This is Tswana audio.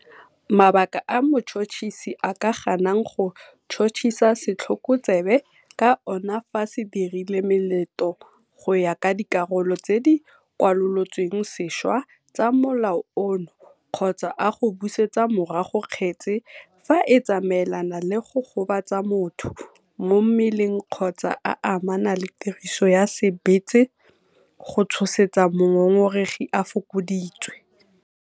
Mabaka a motšhotšhisi a ka ganang go tšhotšhisa setlhokotsebe ka ona fa se dirile melato go ya ka dikarolo tse di kwalolotsweng sešwa tsa Molao ono kgotsa a go busetsa morago kgetse fa e tsamaelana le go gobatsa motho mo mmeleng kgotsa a amana le tiriso ya sebetsa go tshosetsa mongongoregi a fokoditswe.